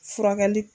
Furakɛli